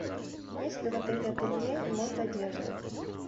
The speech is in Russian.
есть ли в отеле ателье и ремонт одежды